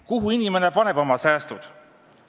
Kuhu inimene paneb oma säästud?